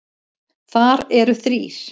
Þar eru þrír